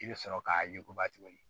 I bɛ sɔrɔ k'a yekuba tuguni